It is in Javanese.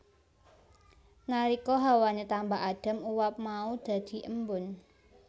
Nalika hawane tambah adem uap mau dadhi embun